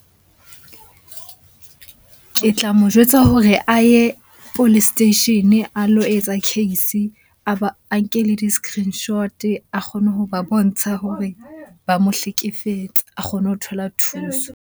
Ke tla mo jwetsa hore a ye police station a lo etsa case, a ba a nke le di-screenshot-e a kgone ho ba bontsha hore ba mo hlekefetsa. A kgone ho thola thuso.